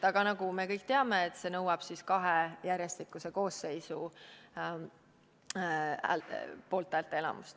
Aga nagu me kõik teame, see nõuab kahe järjestikuse koosseisu poolthäälte enamust.